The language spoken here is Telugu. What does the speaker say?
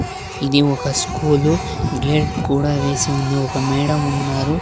ఇది ఒక స్కూలు గేట్ కూడా వేసి ఉంది ఒక మేడం ఉన్నారు.